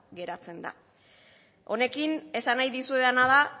geratzen da honekin esan nahi dizuedana da